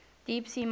deep sea mining